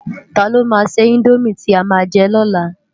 Tá ló má sè indómi ti á má jè lò lá?